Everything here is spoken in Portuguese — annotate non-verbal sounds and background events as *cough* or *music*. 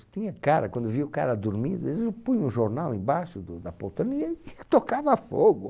Tinha cara, quando via o cara dormindo, eles punham um jornal embaixo da do poltrona e e *laughs* tocava fogo.